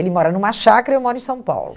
Ele mora numa chácara e eu moro em São Paulo.